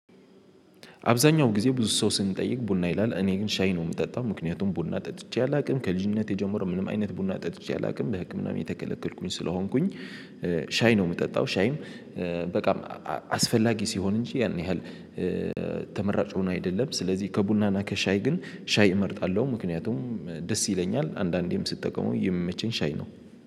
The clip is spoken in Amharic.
አብዛኛው ጊዜ ብዙ ሰው ስንጠይቅ ቡና ይላል፤ እኔ ግን ሻይ ነው የምጠጣ፤ ምክንያቱም ቡና ጠጥቼ አላውቅም። ከልጅነቴ ጀምሮ ምንም አይነት ቡና ጠጥቼ አላውቅም፤ በህክምና እየተከለከልኩኝ ስለሆንኩኝ። ሻይ ነው የምጠጣ፤ ሻይም በጣም አስፈላጊ ሲሆን እንጂ ያን ያህል ተመራጭ ሆኖ አይደለም። ስለዚህ ከቡናና ከሻይ ግን ሻይ እመርጣለሁ፤ ምክንያቱም ደስ ይለኛል፤ አንዳንዴም ስትጠቀመው የሚመቸኝ ሻይ ነው።